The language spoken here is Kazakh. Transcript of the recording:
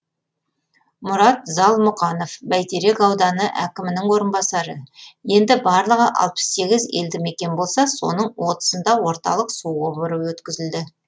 мұрат залмұқанов бәйтерек ауданы әкімінің орынбасары енді барлығы алпыс сегіз елді мекен болса соның отызында орталық су құбыры өткізілді